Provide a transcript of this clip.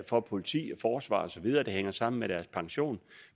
for politi forsvar og så videre det hænger sammen med deres pension